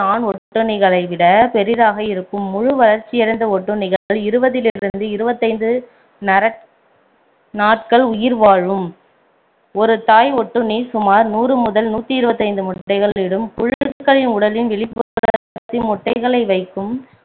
இருபதிலிருந்து இருபத்தைந்து நாட்கள் உயிர் வாழும் ஒரு தாய் ஒடுண்ணி சுமார் நூறு முதல் நூற்று இருபத்தைந்து முட்டைகள் இடும் புழுக்களின் உடலின் வெளிப்புறத்தில் முட்டைகளை வைக்கும்